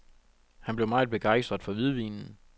Han blev meget begejstret for hvidvinen.